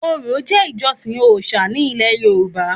Orò jẹ́ ìjọsìn òòṣà ní ilẹ̀ yorùbá